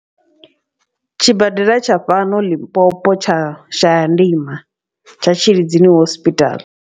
Tshibadela tsha fhano Limpopo tsha Shayandima tsha Tshilidzini hospital.